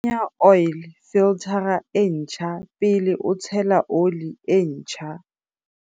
Kenya oil filthara e ntjha pele o tshela ole e ntjha.